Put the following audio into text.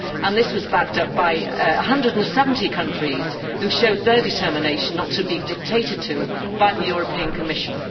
This was also backed up by 170 countries, which showed their determination not to be dictated to by the European Commission.